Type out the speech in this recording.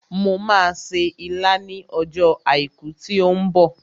Mo máa se ilá ní ọjọ́ àìkú tí ó ń bọ̀